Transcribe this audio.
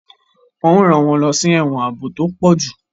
Wọn o ran wọn lọ sí ẹwọn ààbò tí o pọju